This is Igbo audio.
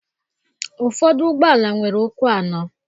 Ụfọdụ ụgbọala nwere ụkwụ anọ.